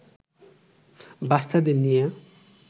বাচ্চাদের নিয়ে